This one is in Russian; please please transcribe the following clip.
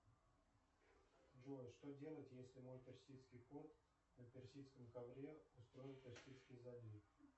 джой что делать если мой персидский кот на персидском ковре устроил персидский залив